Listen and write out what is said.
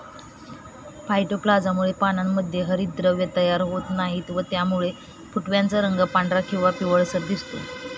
फायटोप्लाझामुळे पानांमध्ये हरितद्रव्यें तयार होत नाहीत व त्यामुळे फुटव्यांचा रंग पंधरा किंवा पिवळसर दिसतो.